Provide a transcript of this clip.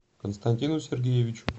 константину сергеевичу